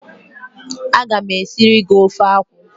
A ga m e siri gi ofe akwụ.